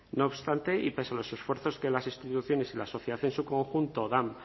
no obstante y pese a los esfuerzos que las instituciones y la sociedad en su conjunto dan